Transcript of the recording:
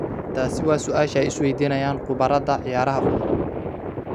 Taasi waa su'aasha ay iswaydiinayaan khubarada ciyaaraha fudud.